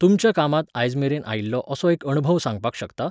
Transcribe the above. तुमच्या कामातं आयजमेरेन आयिल्लो असो एक अणभव सांगपाक शकता?